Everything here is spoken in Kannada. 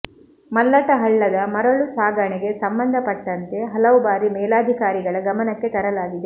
ಮಲ್ಲಟ ಹಳ್ಳದ ಮರಳು ಸಾಗಣೆಗೆ ಸಂಬಂಧಪಟ್ಟಂತೆ ಹಲವು ಬಾರಿ ಮೇಲಾಧಿಕಾರಿಗಳ ಗಮನಕ್ಕೆ ತರಲಾಗಿದೆ